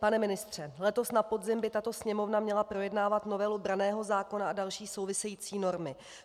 Pane ministře, letos na podzim by tato Sněmovna měla projednávat novelu branného zákona a další související normy.